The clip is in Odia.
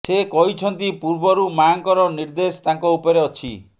ସେ କହିଛନ୍ତି ପୂର୍ବରୁ ମାଆଙ୍କର ନିର୍ଦ୍ଦେଶ ତାଙ୍କ ଉପରେ ଅଛି